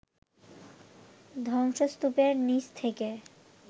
ধ্বংসস্তূপের নিচ থেকে